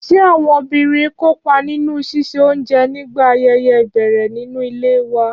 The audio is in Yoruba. Ṣé àwọn obìnrin ń kópa nínú ṣíṣe oúnjẹ nígbà ayẹyẹ ìbẹ̀rẹ̀ nínú ilé wa?